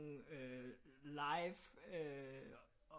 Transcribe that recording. Øh live øh